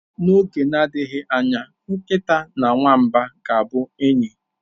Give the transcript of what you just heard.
N'oge na-adịghị anya, nkịta na nwamba ga-abụ enyi.